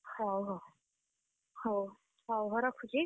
ହଉ ହଉ, ହଉ, ହଉ ରଖୁଛି?